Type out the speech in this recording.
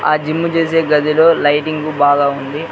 ఆ జిమ్ చేసే గదిలో లైటింగ్ బాగా ఉంది.